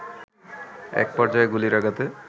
এক পর্যায়ে গুলির আঘাতে